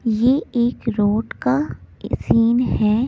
ये एक रोड का सीन है।